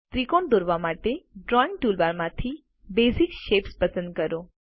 ત્રિકોણ દોરવા માટે ડ્રાઇંગ ટૂલબાર માંથી બેસિક શેપ્સ પસંદ કરો